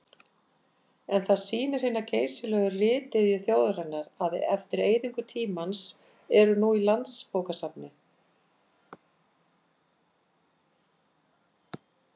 En það sýnir hina geysilegu ritiðju þjóðarinnar að eftir eyðingu tímans eru nú í Landsbókasafni